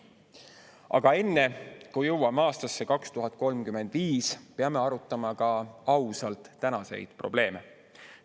Aga enne, kui jõuame aastasse 2035, peame arutama ka ausalt tänaseid probleeme.